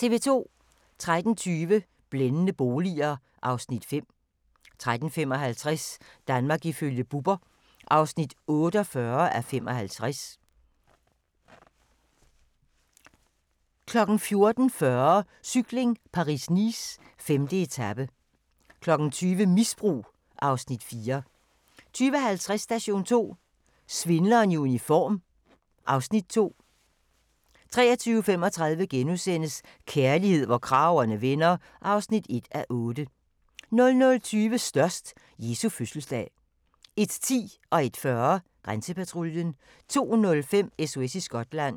13:20: Blændende boliger (Afs. 5) 13:55: Danmark ifølge Bubber (48:75) 14:40: Cykling: Paris-Nice - 5. etape 20:00: Misbrug (Afs. 4) 20:50: Station 2: Svindleren i uniform (Afs. 2) 23:35: Kærlighed, hvor kragerne vender (1:8)* 00:20: Størst - Jesu fødselsdag 01:10: Grænsepatruljen 01:40: Grænsepatruljen 02:05: SOS i Skotland